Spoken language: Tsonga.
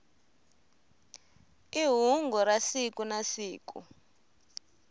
i hungu ra siku na siku